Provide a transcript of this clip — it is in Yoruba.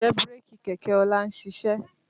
Ǹjẹ́ bírèkì kẹ̀kẹ́ ọlá ń ṣiṣẹ́?